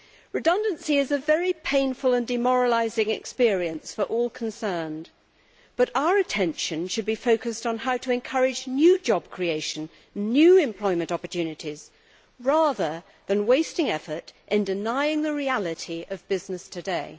Redundancy is a very painful and demoralising experience for all concerned but our attention should be focused on how to encourage new job creation and new employment opportunities rather than wasting effort in denying the reality of business today.